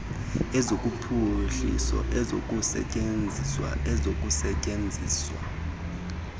ezophuhliso ezokusetyenzwa ezokusetyenziswa